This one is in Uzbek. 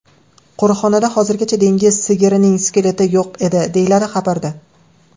Qo‘riqxonada hozirgacha dengiz sigirining skeleti yo‘q edi”, deyiladi xabarda.